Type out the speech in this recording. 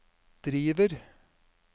driver